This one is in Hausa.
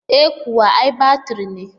E kuwa, ai batiri ne.